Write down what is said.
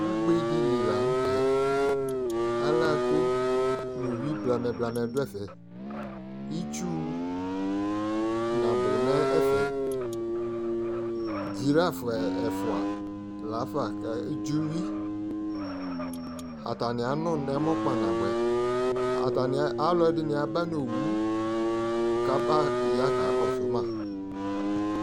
ugbe di li lantɛ ala ko no uwi blamɛ blamɛ do ɛfɛ itsu nabo no ɛfɛ dziraf ɛfoa lafa ke dzi uwi atani ano no ɛmɔ kpa naboɛ atani alo ɛdini aba no owu ko aba ya ka kɔso ma